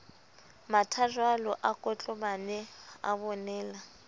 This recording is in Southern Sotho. mathajwalo a kotlobane a bonela